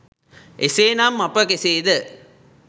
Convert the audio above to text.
එසේ නම් අප කෙසේ ද